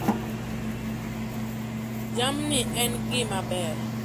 Jamni en gima ber.